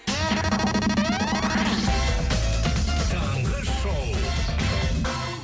таңғы шоу